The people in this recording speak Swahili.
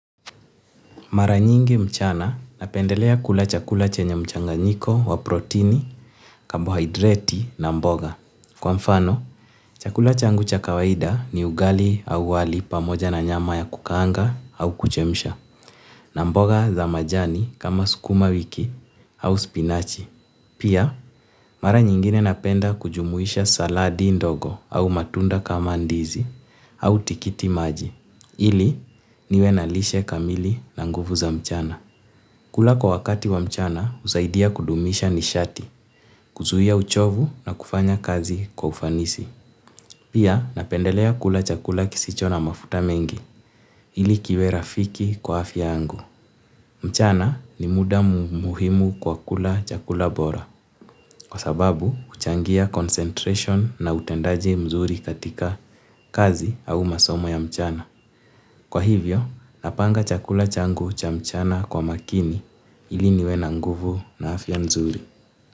Mara nyingi mchana napendelea kula chakula chenye mchanganyiko wa protini, kabohaidreti na mboga. Kwa mfano, chakula changu cha kawaida ni ugali au wali pamoja na nyama ya kukaanga au kuchemsha, na mboga za majani kama sukuma wiki au spinachi. Pia, mara nyingine napenda kujumuisha saladi ndogo au matunda kama ndizi au tikiti maji. Ili niwe na lishe kamili na nguvu za mchana. Kula kwa wakati wa mchana husaidia kudumisha nishati, kuzuia uchovu na kufanya kazi kwa ufanisi. Pia napendelea kula chakula kisicho na mafuta mengi ili kiwe rafiki kwa afya yangu. Mchana ni muda muhimu kwa kula chakula bora. Kwa sababu huchangia concentration na utendaji mzuri katika kazi au masomo ya mchana. Kwa hivyo, napanga chakula changu cha mchana kwa makini ili niwe na nguvu na afya nzuri.